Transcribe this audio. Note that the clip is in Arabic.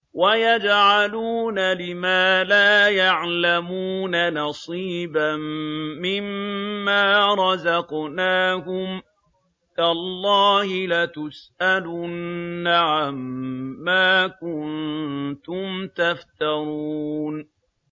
وَيَجْعَلُونَ لِمَا لَا يَعْلَمُونَ نَصِيبًا مِّمَّا رَزَقْنَاهُمْ ۗ تَاللَّهِ لَتُسْأَلُنَّ عَمَّا كُنتُمْ تَفْتَرُونَ